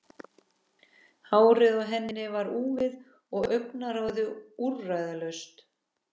Hárið á henni var úfið og augnaráðið úrræðalaust.